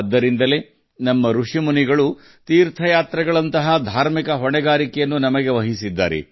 ಅದಕ್ಕಾಗಿಯೇ ನಮ್ಮ ಋಷಿಮುನಿಗಳು ಮತ್ತು ಸಂತರು ತೀರ್ಥಯಾತ್ರೆಯಂತಹ ಆಧ್ಯಾತ್ಮಿಕ ಜವಾಬ್ದಾರಿಗಳನ್ನು ನಮಗೆ ನೀಡಿದ್ದರು